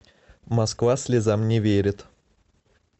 москва слезам не верит